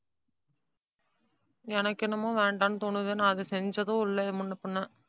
எனக்கு என்னமோ வேண்டாம்னு தோணுது. நான் அதை செஞ்சதும் இல்லை முன்னபின்ன.